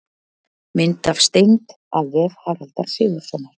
Mynd af steind: af vef Haraldar Sigurðssonar.